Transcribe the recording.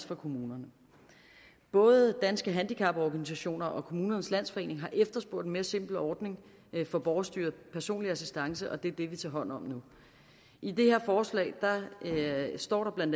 for kommunerne både danske handicaporganisationer og kommunernes landsforening har efterspurgt en mere simpel ordning for borgerstyret personlig assistance og det er det vi nu tager hånd om i det her forslag står der bla